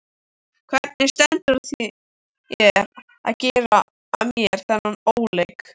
Hvernig stendur á þér að gera mér þennan óleik?